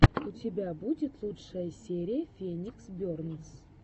у тебя будет лучшая серия феникс бернс